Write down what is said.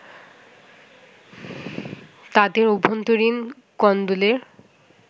তাদের অভ্যন্তরীণ কোন্দলের